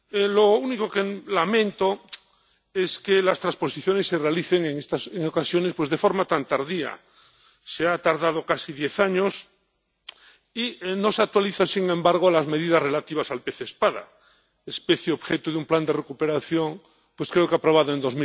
Lo único que lamento es que las transposiciones se realicen en ocasiones de forma tan tardía se ha tardado casi diez años, y no se actualizan, sin embargo, las medidas relativas al pez espada, especie objeto de un plan de recuperación, creo que aprobado en